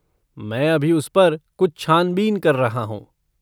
मैं अभी उस पर कुछ छान बीन कर रहा हूँ।